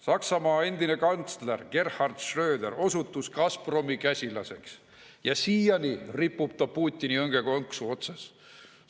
Saksamaa endine kantsler Gerhard Schröder osutus Gazpromi käsilaseks ja siiani ripub ta Putini õngekonksu otsas.